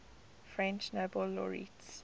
french nobel laureates